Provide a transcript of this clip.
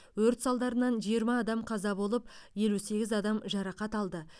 өрт салдарынан жиырма адам қаза болып елу сегіз адам жарақат алды